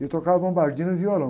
Ele tocava bombardino e violão.